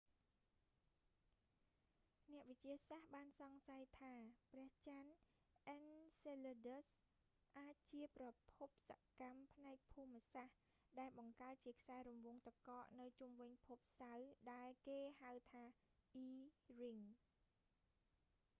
អ្នកវិទ្យាសាស្ត្របានសង្ស័យថា ព្រះចន្ទអិនសេលើឌើស enceladus អាចជាប្រភពសកម្មផ្នែកភូមិសាស្ត្រ ដែលបង្កើតជាខ្សែរង្វង់ទឹកកកនៅជុំវិញភពសៅរ៍ ដែលគេហៅថា e ring